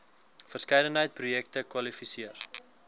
verskeidenheid projekte kwalifiseer